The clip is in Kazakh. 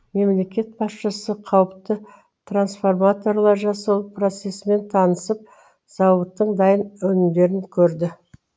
мемлекет басшысы қауіпті трансформаторлар жасау процесімен танысып зауыттың дайын өнімдерін көрді